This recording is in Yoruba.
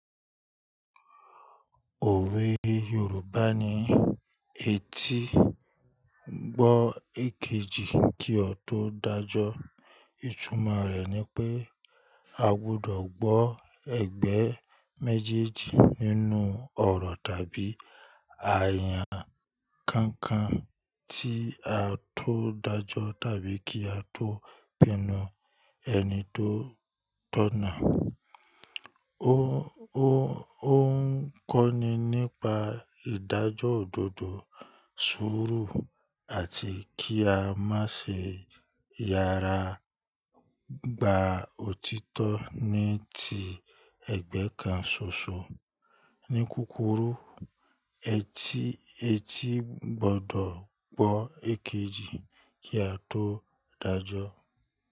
Òwe Yorùbá ni "Etí gbọ́ èkejì kí ó tó dájọ́". Ìtumọ̀ rẹ̀ ni pé a gbudọ̀ gbọ́ ẹ̀gbẹ́ méjèèjì nínú ọ̀rọ̀ tàbí àyà kankan tí a tó dájọ́ tàbí kí a tó pinnu ẹni tó tọ̀nà. Ó ń kọ́ni nípa ìdájọ́ òdodo, sùúrù àti kí a má ṣe yára gba òtítọ́ ní ti ẹ̀gbẹ́ kan ṣoṣo. Ní kúkurú, etí gbọdọ̀ gbọ́ èkejì kí a tó dájọ́.